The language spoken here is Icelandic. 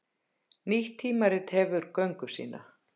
Nýtt tímarit hefur göngu sína